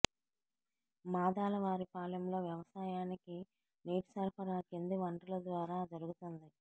మాదాలవారిపాలెంలో వ్యవసాయానికి నీటి సరఫరా కింది వనరుల ద్వారా జరుగుతోంది